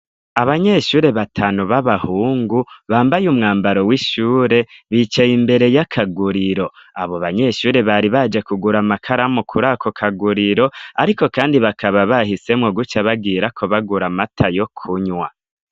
Abanyeshure batanu b'abahungu bambaye umwambaro w'ishure bicaye imbere y'akaguriro, abo banyeshure bari baje kugura amakaramu kuri ako kaguriro ariko kandi bakaba bahisemwo guca bagirako bagura amata yo kunywa.